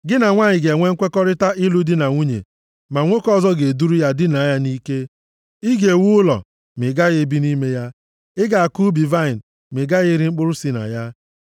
Gị na nwanyị ga-enwe nkwekọrịta ịlụ di na nwunye, ma nwoke ọzọ ga-eduru ya dinaa ya nʼike. Ị ga-ewu ụlọ ma ị gaghị ebi nʼime ya. Ị ga-akụ ubi vaịnị ma ị gaghị eri mkpụrụ si na ya.